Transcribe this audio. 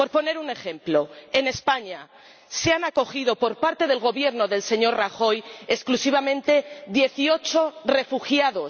Por poner un ejemplo, en España se ha acogido, por parte del Gobierno del señor Rajoy, exclusivamente a dieciocho refugiados.